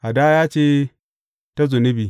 Hadaya ce ta zunubi.